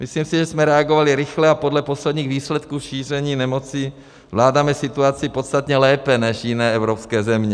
Myslím si, že jsme reagovali rychle a podle posledních výsledků šíření nemoci zvládáme situaci podstatně lépe než jiné evropské země.